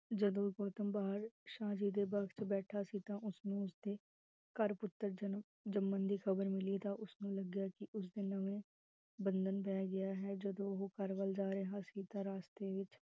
ਜਦੋ ਗੌਤਮ ਬਾਰ ਸ਼ਾਦੀ ਦੇ ਬਕਤ ਬੈਠਾ ਸੀ ਤਾਂ ਉਸ ਨੂੰ ਉਸਦੇ ਘਰ ਪੁਤਰ ਜਨਮ ਜਮਨ ਦੀ ਖਬਰ ਮਿਲੀ ਤਾਂ, ਉਸਨੂੰ ਲਗਿਆ ਕਿ, ਉਸ ਦਿਨ ਓਹਨੇ ਬੰਧਨ ਰਹਿ ਗਿਆ, ਜਦੋ ਓਹੋ ਘਰ ਵੱਲ ਜਾ ਰਿਹਾ ਸੀ ਤਾਂ, ਰਾਸਤੇ ਵਿਚ